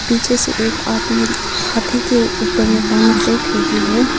पीछे से एक आदमी हाथी के ऊपर में पानी फेंक रही है।